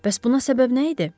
Bəs buna səbəb nə idi?